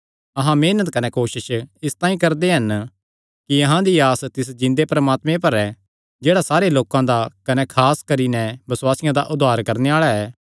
अहां मेहनत कने कोसस इसतांई करदे हन कि अहां दी आस तिस जिन्दे परमात्मे पर ऐ जेह्ड़ा सारे लोकां दा कने खास करी नैं बसुआसियां दा उद्धार करणे आल़ा ऐ